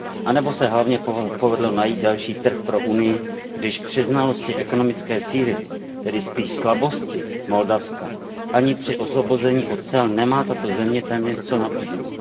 Anebo se hlavně povedlo najít další trh pro Unii, když při znalosti ekonomické síly, tedy spíš slabosti Moldavska ani při osvobození od cel nemá tato země téměř co nabídnout?